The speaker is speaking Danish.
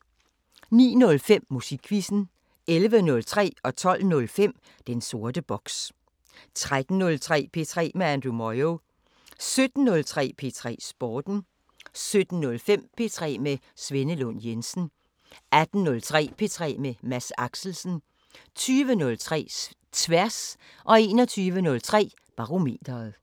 09:05: Musikquizzen 11:03: Den sorte boks 12:05: Den sorte boks 13:03: P3 med Andrew Moyo 17:03: P3 Sporten 17:05: P3 med Svenne Lund Jensen 18:03: P3 med Mads Axelsen 20:03: Tværs 21:03: Barometeret